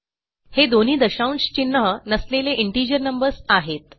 हे दोन्ही दशांश चिन्ह नसलेले इंटिजर नंबर्स आहेत